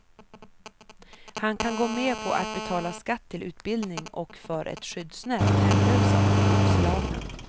Han kan gå med på att betala skatt till utbildning och för ett skyddsnät åt hemlösa och utslagna.